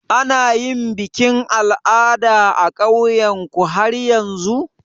Ana yin bikin al'ada a ƙauyan ku har yanzu?